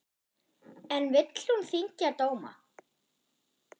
En vill hún þyngja dóma?